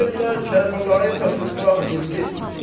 Deyirlər Kərbəlayı Fəthullah dirilib.